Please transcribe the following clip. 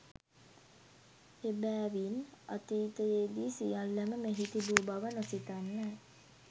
එබෑවින් අතීතයේදී සියල්ලම මෙහි තිබු බව නොසිතන්න